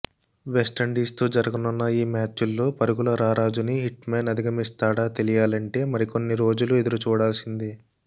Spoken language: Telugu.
వెస్టిండీస్తో జరగనున్న ఈ మ్యాచుల్లో పరుగుల రారాజుని హిట్మ్యాన్ అధిగమిస్తాడా తెలియాలంటే మరికొన్ని రోజులు ఎదురుచూడాల్సిందే